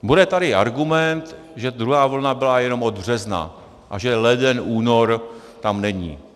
Bude tady argument, že druhá vlna byla jenom od března a že leden, únor tam není.